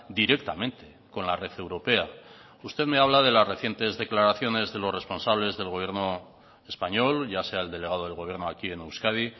directamente con la red europea usted me habla de las recientes declaraciones de los responsables del gobierno español ya sea el delegado del gobierno aquí en euskadi